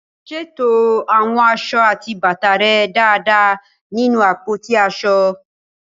Ṣètò àwọn aṣọ àti bàtà rẹ dáadáa nínú àpótí aṣọ.